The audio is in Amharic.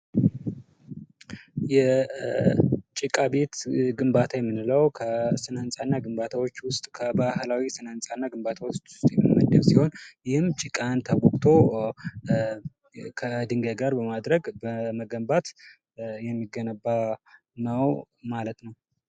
የጭቃ ቤት ግንባታ የምንለው ከስነ ህንፃና ግንባታወች፤ ከባህላዊ ስነ ህንፃና ግንባታወች ውስጥ የሚመደብ ሲሆን ይህም ጭቃን አቡክቶ ከ ዲንጋይ ጋር በማድረግ በመገንባት የሚገነባ ነው ማለት ነው።